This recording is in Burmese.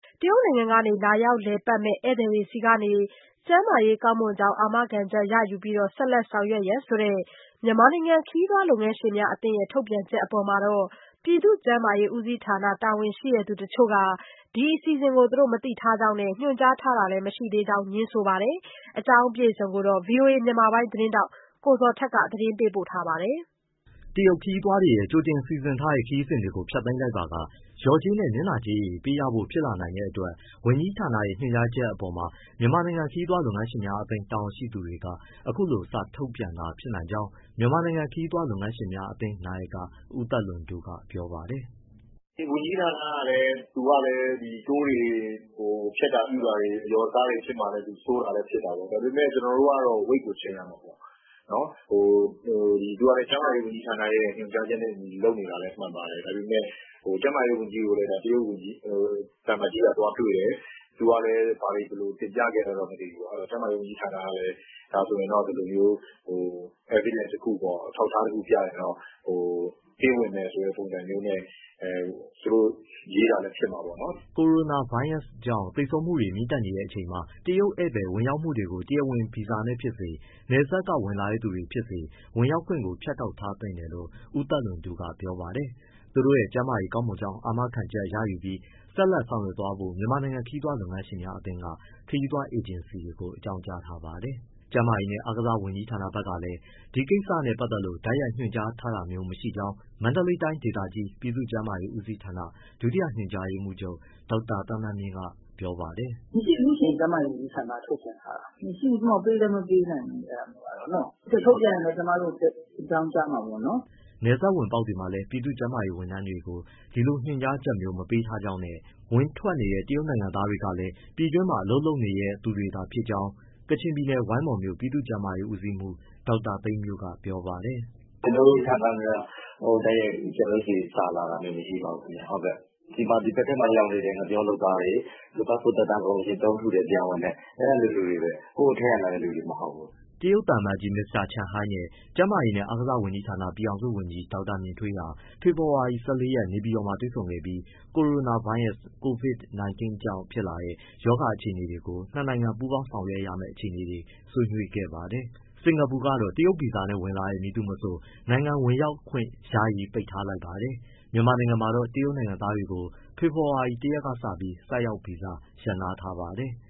တရုတ်နိုင်ငံကနေ လာရောက်လည်ပတ်မယ့် ဧည့်သည်တွေဆီကနေ ကျန်းမာရေးကောင်းမွန်ကြောင်း အာမခံချက်ရယူပြီး ဆက်လက်ဆောင်ရွက်ရန် ဆိုတဲ့ မြန်မာနိုင်ငံခရီးသွားလုပ်ငန်းရှင်များအသင်းထုတ်ပြန်ချက်အပေါ်မှာ ပြည်သူ့ကျန်းမာရေးဦးစီးဌာန တာဝန်ရှိသူတချို့က ဒီအစီအစဉ်ကို မသိထားကြောင်း နဲ့ ညွှန်ကြားထားတာလည်း မရှိသေးကြောင်း ငြင်းဆိုလိုက်ပါတယ်။ ဒီအကြောင်း အပြည့်အစုံကို ဗွီအိုအေ မြန်မာပိုင်းသတင်းထောက် ကိုဇော်ထက်က မေးမြန်းပေးပို့ထားပါတယ်။ တရုတ်ခရီးသွားတွေရဲ့ ကြိုတင်စီစဉ်ထားတဲ့ ခရီးစဉ်တွေကို ဖျက်သိမ်းလိုက်ပါက လျော်ကြေးနဲ့ နစ်နာကြေးတွေ ပေးရဖို့ ဖြစ်လာနိုင်တဲ့အတွက် ဝန်ကြီးဌာနရဲ့ ညွှန်ကြားအပေါ်မှာ မြန်မာနိုင်ငံ ခရီးသွားလုပ်ငန်းရှင်များအသင်းတာဝန်ရှိသူတွေက အခုလို စာထုတ်ပြန်တာဖြစ်နိုင်ကြောင်း မြန်မာနိုင်ငံခရီးသွားလုပ်ငန်းရှင်များအသင်း နာယက ဦးသက်လွင်တိုးက ပြောပါတယ်။ “ ဝန်ကြီးဌာနကလည်း tour တွေဘာတွေ ဖျက်တာပြုတာတွေ၊ အလျော်အစားတွေဖြစ်မှာလည်း သူစိုးရိမ်တာလည်း ဖြစ်မှာပေါ့။ ဒါပေမဲ့ ကျနော်တို့ကတော့ ဝိတ်ကို ချိန်ရမှာပေါ့။ သူက ကျန်းမာရေးဝန်ကြီးဌာနရဲ့ ညွှန်ကြားချက်နဲ့အညီလုပ်နေတာလည်း မှန်ပါတယ်။ ကျန်းမာရေးဝန်ကြီးကို တရုတ်သံအမတ်ကြီးက သွားတွေ့တယ်၊ သူကလည်း ဘာတွေဘယ်လို တင်ပြခဲ့လည်းတော့မသိဘူးပေါ့၊ အဲဒီတော့ ကျန်းမာရေးဝန်ကြီးဌာနကလည်း ဒါဆိုရင်တော့ ဒီလိုမျိုး အထောက်အထား တခုပြရင်တော့ ပေးဝင်မယ်ဆိုတဲ့ ပုံစံမျိုးနဲ့ သူတို့ရေးတာလည်း ဖြစ်မှာပေါ့နော်။” ကိုရိုနာဗိုင်းရပ်စ်ကြောင့် သေဆုံးမှုတွေတက်နေတဲ့အချိန်မှာ တရုတ်ဧည့်သည် ဝင်ရောက်မှုတွေကို တရားဝင်ဗီဇာနဲ့ဖြစ်စေ၊ နယ်စပ်က ဝင်လာသူတွေဖြစ်စေ ဝင်ရောက်ခွင့်ကို ဖြတ်တောက်ထားသင့်တယ်လို့ ဦးသက်လွင်တိုးကပြောပါတယ်။ သူတို့ရဲ့ ကျန်းမာရေး ကောင်းမွန်ကြောင်း အာမခံချက်ရယူပြီး ဆက်လက်ဆောက်ရွက်သွားဖို့ မြန်မာနိုင်ငံခရီးသွားလုပ်ငန်းရှင်များအသင်းက ခရီးသွားအေဂျင်စီတွေကို အကြောင်းကြားထားပါတယ်။ ကျန်းမာရေးနှင့် အားကစားဝန်ကြီးဌာနဘက်ကလည်း ဒီကိစ္စနဲ့ပတ်သက်လို့ တိုက်ရိုက်ညွှန်ကြားထားတာမျိုးမရှိကြောင်း မန္တလေးတိုင်းဒေသကြီး ပြည်သူ့ကျန်းမာရေး ဦးစီးဌာန ဒုတိယ ညွှန်ကြားရေးမှူးချုပ် ဒေါက်တာသန်းသန်းမြင့် ကပြောပါတယ်။ “ မရှိဘူးရှင့် ကျန်းမာရေးဝန်ကြီးဌာနက ထုတ်ပြန်ထားတာ၊ ကျမတို့ ပေးလည်းမပေးနိုင်ဘူး အဲဒါမျိုးကတော့နော့။ ထုတ်ပြန်ရင်လည်း ကျမတို့ကို အကြောင်းကြားမှာပေါ့နော်။” နယ်စပ်ဝင်ပေါက်တွေမှာလည်း ပြည်သူ့ကျန်းမာရေးဝန်ထမ်းတွေကို ဒီလိုညွှန်ကြားချက်မျိုး မပေးထားကြောင်းနဲ့ ဝင်ထွက်နေတဲ့ တရုတ်နိုင်ငံသား တွေကလည်း ပြည်တွင်းမှာ အလုပ်လုပ်နေတဲ့သူတွေသာ ဖြစ်ကြောင်း ကချင်ပြည်နယ်၊ ဝိုင်းမော်မြို့ ပြည်သူ့ကျန်းမာရေး ဦးစီးမှူး ဒေါက်တာသိန်းမြို့ က ပြောပါတယ်။ “ ကျနော်တို့ ဌာနနဲ့တော့ တိုက်ရိုက် ကျနော်တို့ဆီစာလာတာ မရှိပါဘူခင်ဗျ။ ဒီဘက်ထဲရောက်နေတဲ့ ငှက်ပျောလုပ်သားတွေ၊ ပတ်စပို့ သက်တမ်းကုန်ရင် တုံးထုတယ်၊ ပြန်ဝင်တယ်၊ အဲဒီလိုလူတွေပဲ။ ဟိုအထဲ လာတဲ့သူတွေ မဟုတ်ဘူး။” တရုတ်သံအမတ်ကြီး မစ္စတာ Chen Hai နဲ့ ကျန်းမာရေးနှင့်အားကစား ဝန်ကြီးဌာန ပြည်ထောင်စုဝန်ကြီး ဒေါက်တာ မြင့်ထွေးဟာ ဖေဖောဝါရီ ၁၄ရက် နေပြည်တော်မှာတွေ့ဆုံခဲ့ပြီး ကိုရိုနာဗိုင်းရပ်စ် COVID 19 ကြောင့်ဖြစ်လာတဲ့ ရောဂါအခြေအနေတွေကို နှစ်နိုင်ငံ ပူးပေါင်းဆောင်ရွက်မယ့် အခြေအနေ တွေကို ဆွေးနွေးခဲ့ပါတယ်။ စင်္ကာပူကတော့ တရုတ်ဗီဇာနဲ့ဝင်လာတဲ့ မည်သူမဆို နိုင်ငံဝင်ရောက်ခွင့် ယာယီပိတ်ထားလိုက်ပါတယ်။ မြန်မာနိုင်ငံမှာတော့ တရုတ်နိုင်ငံသားတွေကို ဖေဖော်ဝါရီ ၁ရက်ကစပြီး ဆိုက်ရောက်ဗီဇာရပ်နားထားပါတယ်။